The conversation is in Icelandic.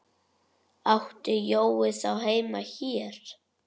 Átti Jói þá heima hér?